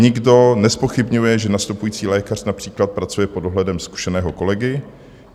Nikdo nezpochybňuje, že nastupující lékař například pracuje pod dohledem zkušeného kolegy.